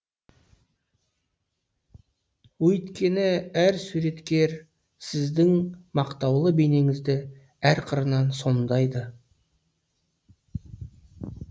өйткені әр суреткер сіздің мақтаулы бейнеңізді әр қырынан сомдайды